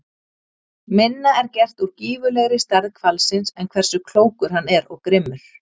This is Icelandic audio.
Minna er gert úr gífurlegri stærð hvalsins en hversu klókur hann er og grimmur.